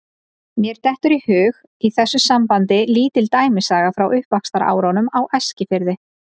Mér dettur í hug í þessu sambandi lítil dæmisaga frá uppvaxtarárunum á Eskifirði.